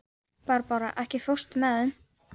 Barbára, ekki fórstu með þeim?